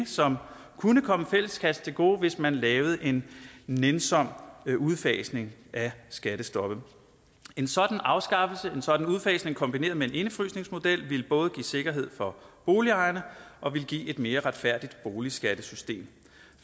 som kunne komme fælleskassen til gode hvis man lavede en nænsom udfasning af skattestoppet en sådan afskaffelse en sådan udfasning kombineret med en indefrysningsmodel ville både give sikkerhed for boligejerne og ville give et mere retfærdigt boligskattesystem